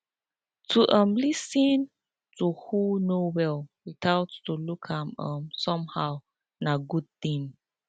to um lis ten to who no well without to look am um somehow na good thing